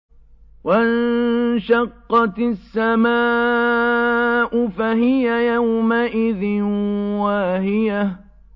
وَانشَقَّتِ السَّمَاءُ فَهِيَ يَوْمَئِذٍ وَاهِيَةٌ